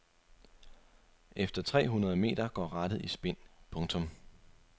Efter tre hundrede meter går rattet i spind. punktum